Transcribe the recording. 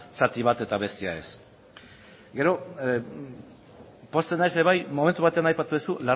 zati bat eta bestea ez gero pozten naiz ere bai momentu batean aipatu duzu